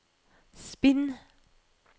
spinn